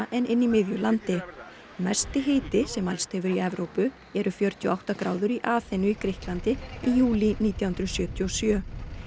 en í miðju landi mesti hiti sem mælst hefur í Evrópu eru fjörutíu og átta gráður í Aþenu í Grikklandi í júlí nítján hundruð sjötíu og sjö